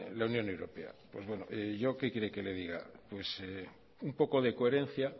la unión europea pues bueno yo qué quiere que le diga pues un poco de coherencia